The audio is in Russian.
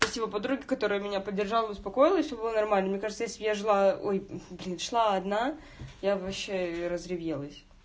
спасибо подруге которая меня поддержала успокоила все нормально мне кажется если бы я шла одна я б вообще разревелась